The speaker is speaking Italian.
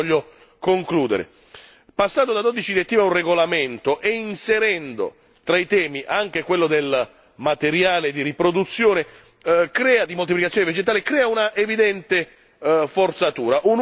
E su questo voglio concludere passando da 12 direttive a un regolamento e inserendo tra i temi anche quello del materiale di riproduzione, di moltiplicazione vegetale, crea un'evidente forzatura.